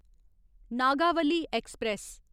Nagavali express